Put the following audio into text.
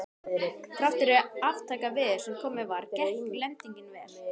Þrátt fyrir aftakaveður sem komið var, gekk lendingin vel.